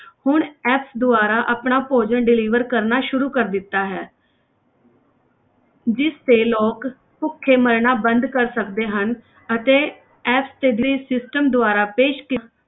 ਹੁਣ ਇਸ ਦੁਆਰਾ ਆਪਣਾ ਭੋਜਨ deliver ਕਰਨਾ ਸ਼ੁਰੂ ਕਰ ਦਿੱਤਾ ਹੈ ਜਿਸ ਤੇ ਲੋਕ ਭੁੱਖੇ ਮਰਨਾ ਬੰਦ ਕਰ ਸਕਦੇ ਹਨ ਅਤੇ ਇਸ delivery system ਦੁਆਰਾ ਪੇਸ਼ ਕ~